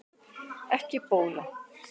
Ekki bóla